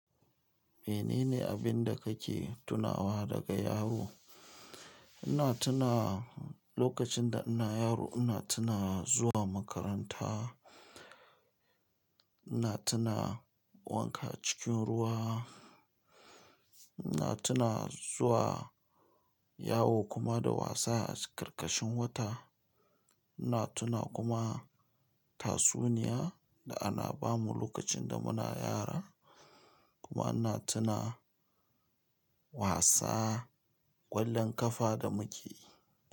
Menene abinda kake tunawa daga yaro? Ina tuna lokacin da ina yaro ina tuna zuwa makaranta, ina tuna wanka cikin ruwa, ina tuna zuwa yawo kuma da wasa a karkashin wata. Ina tuna kuma tatsuniya da ana bamu lokacin da muna yara kuma ina tuna wasa ƙwallon ƙafa da muke yi.